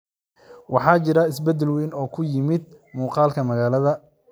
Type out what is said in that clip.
Waxaa jira isbedel weyn oo ku yimid muuqaalka magaalada.